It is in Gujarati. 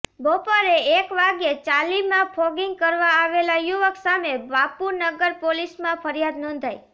બપોરે એક વાગ્યે ચાલીમાં ફોગિંગ કરવા આવેલા યુવક સામે બાપુનગર પોલીસમાં ફરિયાદ નોંધાઈ